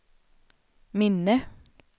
minne